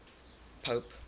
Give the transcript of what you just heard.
pope